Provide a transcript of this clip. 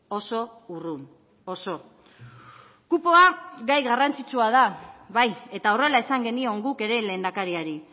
oso urrun oso kupoa gai garrantzitsua da bai eta horrela esan genion guk ere lehendakariari